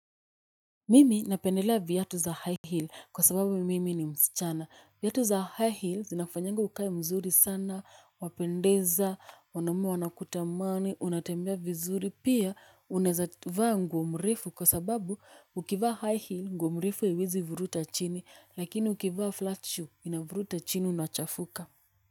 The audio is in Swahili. Mimi napendelea vyatu za high hill kwa sababu mimi ni mschana. Vyatu za high hill zinafanyanga ukae mzuri sana, wapendeza, wanaume wanakutamani, unatembea vizuri, pia unaeza vaa nguo mrefu kwa sababu ukivaa high hill nguo mrefu haiwezi vuruta chini lakini ukivaa flat shoe inavuruta chini unachafuka.